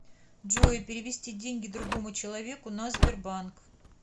джой перевести деньги другому человеку на сбербанк